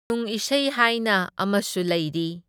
ꯈꯨꯅꯨꯡ ꯏꯁꯩ ꯍꯥꯏꯅ ꯑꯃꯁꯨ ꯂꯩꯔꯤ꯫